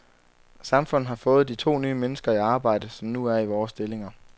Samfundet har fået de to nye mennesker i arbejde, som nu er i vore stillinger.